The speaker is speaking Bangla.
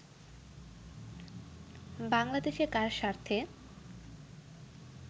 বাংলাদেশে কার স্বার্থে